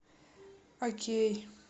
окей